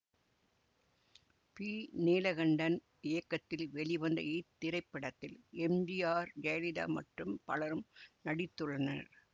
B Neelakantan இயக்கத்தில் வெளிவந்த இத்திரைப்படத்தில் எம் ஜி ஆர் ஜெயலிதா மற்றும் பலரும் நடித்துள்ளனர்